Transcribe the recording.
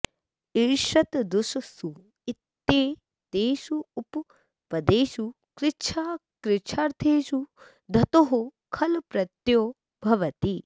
ईषत् दुस् सु इत्येतेषु उपपदेषु कृच्छ्राकृच्छ्रार्थेषु धतोः खल् प्रत्ययो भवति